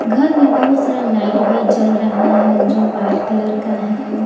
घर में बहुत सारा लाइट जल रहा है जो वाइट कलर का है।